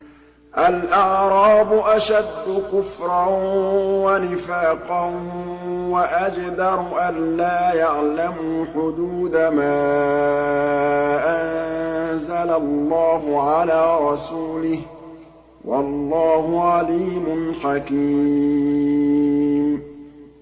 الْأَعْرَابُ أَشَدُّ كُفْرًا وَنِفَاقًا وَأَجْدَرُ أَلَّا يَعْلَمُوا حُدُودَ مَا أَنزَلَ اللَّهُ عَلَىٰ رَسُولِهِ ۗ وَاللَّهُ عَلِيمٌ حَكِيمٌ